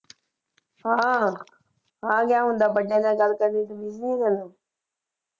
ਹਾਂ ਜਾਂ ਹੁਣ ਤਾਂ ਵੱਡਿਆਂ ਨਾਲ ਗੱਲ ਕਰਨ ਦੀ ਤਮੀਜ਼ ਨਈਂ ਰਹੀ।